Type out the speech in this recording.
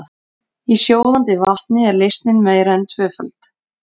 Í sjóðandi vatni er leysnin meira en tvöföld.